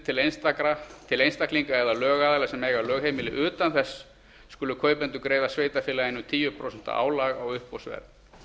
til einstaklinga eða lögaðila sem eiga lögheimili utan þess skulu kaupendur greiða sveitarfélaginu tíu prósent álag á uppboðsverð